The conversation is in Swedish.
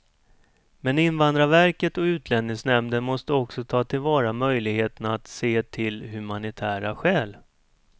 Men invandrarverket och utlänningsnämnden måste också ta till vara möjligheten att se till humanitära skäl.